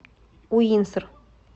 уинсор